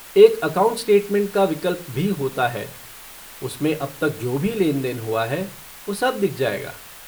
एक account statement का विकल्प भी होता है उसमें अब तक जो भी लेनदेन हुआ है वो सब दिख जाएगा।